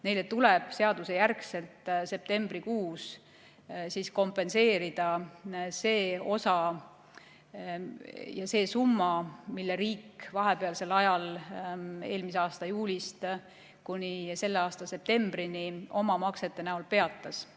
Neile tuleb seaduse järgi septembrikuus kompenseerida see summa, mille maksmise riik vahepeal, eelmise aasta juulist kuni selle aasta septembrini peatas.